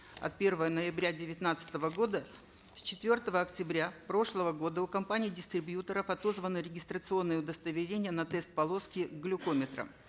от первого ноября девятнадцатого года с четвертого октября прошлого года у компаний дистрибьюторов отозваны регистрационные удостоверения на тест полоски к глюкометрам